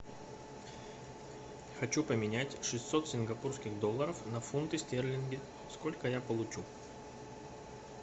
хочу поменять шестьсот сингапурских долларов на фунты стерлингов сколько я получу